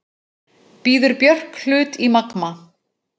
Býður Björk hlut í Magma